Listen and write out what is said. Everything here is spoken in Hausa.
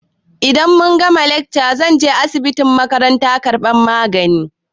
Idan muka gama lekca zan je asibitin makaranta karɓar magani.